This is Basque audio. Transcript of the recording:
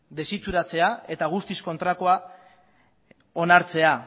desituratzea eta guztiz kontrakoa onartzea